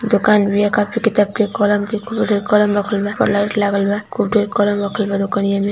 दुकान भैया कापी किताब के कॉलम के खूब ढेर कॉलम रखल बा और लाइट लागल ब। खूब ढेर कॉलम रखल बा दुकनिया मे --